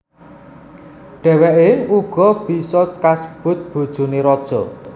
Dhèwèké uga bisa kasebut bojoné raja